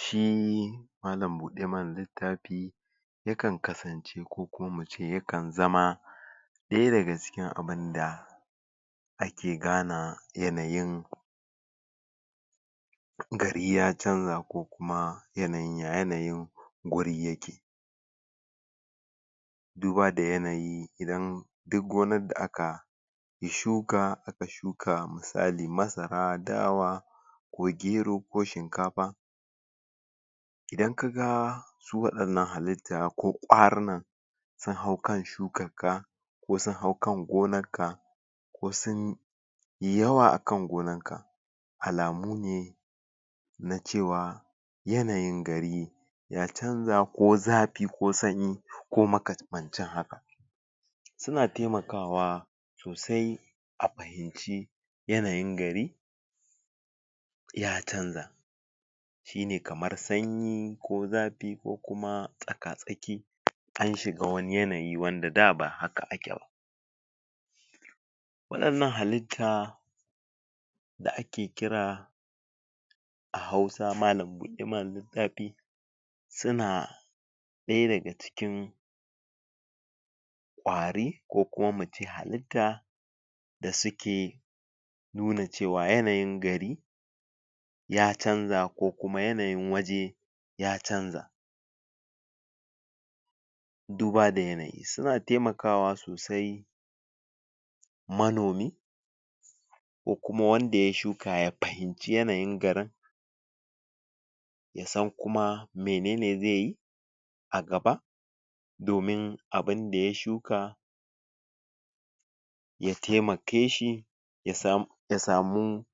shi malam bude mana littafi ya kan kasance ko kuma mu ce yakan zama daya daga cikin abunda ake gane yanayin gari ya canza ko kuma ya yanayin guri yake duba da yanayi idan duk wani da aka shuka aka shuka misali masara dawa ko gero ko shinkafa idan kaga su wa 'yanan halitta ko kwaruna suna hau kan shukan ka ko sun hau kan gonar ka ko sun yi yawa a kan gonan ka alamu ne na cewa yanayin gari ya canza ko zafi ko sanyi ko makamancin haka suna taimaka wa sosai a fahimci yanayin gari ya canza shibne kamar sanyi ko zafi ko kuma tsaka tsaki an shiga wani yanayi wanda da ba haka ake ba wa 'yanan halitta da ake kira a hausa malam bude mana littafi suna daya daga cikin kwari ko kuma muce halitta da suke nuna cewa yanayin gari ya canza ko kuma yanayin waje ya canza duba da yanayi suna taimaka wa sosai manomi kokuma wanda ya shuka ya fahimci yanayin garin yasan kuma menene zai yi a gaba domin abunda ya shuka ya taimake shi ya samu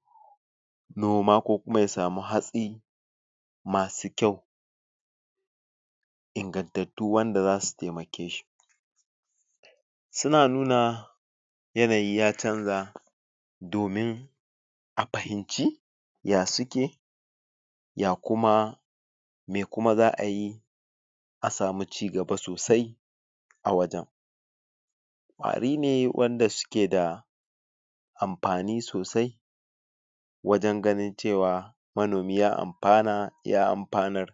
noma ko kuma ya samu hatsi masu kyau ingantattu wanda zasu taimake shi suna nuna yanayi ya canza domin a fahimci ya suke ya kuma mai kuma za'a yi a samu cigaba sosai a wajen kwari ne wanda suke da amfani sosai wajen ganin cewa manomi ya mafana ya amfanar